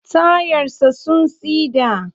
Tayar sa sun siɗa.